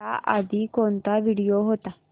याआधी कोणता व्हिडिओ होता